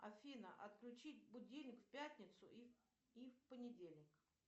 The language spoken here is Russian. афина отключить будильник в пятницу и в понедельник